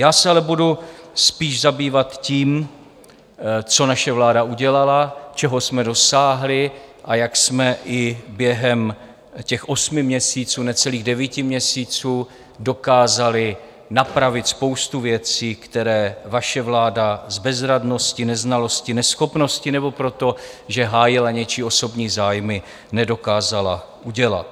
Já se ale budu spíš zabývat tím, co naše vláda udělala, čeho jsme dosáhli a jak jsme i během těch osmi měsíců, necelých devíti měsíců, dokázali napravit spoustu věcí, které vaše vláda s bezradností, neznalostí, neschopností nebo proto, že hájila něčí osobní zájmy, nedokázala udělat.